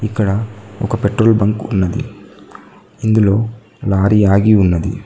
ఇక్కడ ఒక petrol bunk ఉన్నది ఇందులో లారీ ఆగి ఉన్నది.